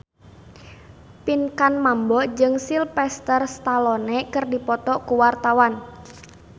Pinkan Mambo jeung Sylvester Stallone keur dipoto ku wartawan